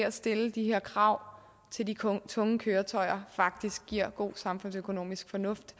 at stille de her krav til de tunge køretøjer faktisk er god samfundsøkonomisk fornuft